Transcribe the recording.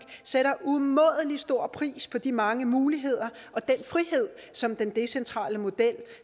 sætter umådelig stor pris på de mange muligheder og den frihed som den decentrale model